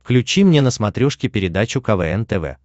включи мне на смотрешке передачу квн тв